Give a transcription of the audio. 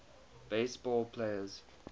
base ball players